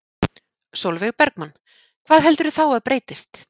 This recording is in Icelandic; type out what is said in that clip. Sólveig Bergmann: Hvað heldurðu þá að breytist?